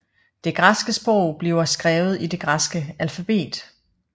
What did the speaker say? Det græske sprog bliver skrevet i det græske alfabet